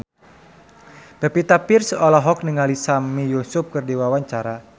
Pevita Pearce olohok ningali Sami Yusuf keur diwawancara